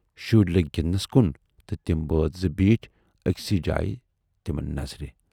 شُرۍ لٔگۍ گِندٕنَس کُن تہٕ تِم بٲژ زٕ بیٖٹھۍ ٲکۍسٕے جایہِ تِمن نظرِ۔